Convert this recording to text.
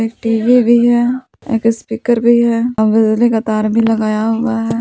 TV भी है एक स्पीकर भी है औ बिजली का तार भी लगाया हुआ है।